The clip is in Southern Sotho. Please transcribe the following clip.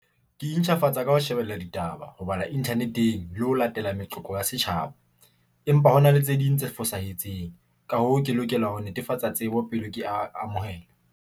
Ke intjhafatsa ka ho shebella ditaba, ho bala Internet- eng le ho latela meqoqo ya setjhaba, empa hona le tse ding tse fosahetseng. Ka hoo, ke lokela ho netefatsa tsebo pele ke amohela.